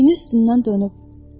Çiyini üstündən dönüb.